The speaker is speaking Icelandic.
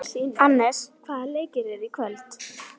Annes, hvaða leikir eru í kvöld?